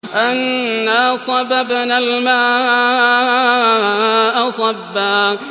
أَنَّا صَبَبْنَا الْمَاءَ صَبًّا